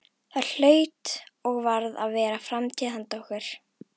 Það hlaut og varð að vera framtíð handa okkur.